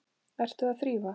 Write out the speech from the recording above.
Ertu að þrífa?